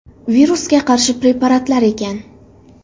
Virusga qarshi preparatlar ekan.